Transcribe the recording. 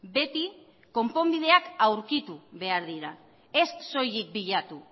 beti konponbideak aurkitu behardira ez soilik bilatu